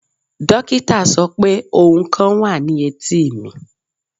Dokita sọ pe ohun kan wa ni eti mi